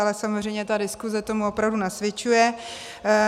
Ale samozřejmě ta diskuze tomu opravdu nasvědčuje.